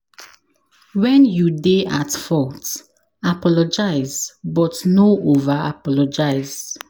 When you dey at fault, apologize but no over apologize